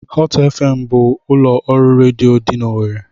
Hot FM bụ ụlọ ọrụ redio dị n'Owerri.